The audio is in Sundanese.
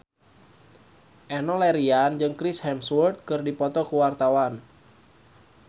Enno Lerian jeung Chris Hemsworth keur dipoto ku wartawan